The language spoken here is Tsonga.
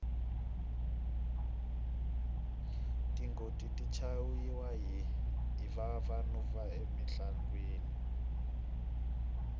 tingoti ti chayiwa hi vavanuna emintlangwini